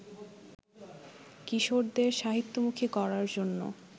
কিশোরদের সাহিত্যমুখী করার জন্য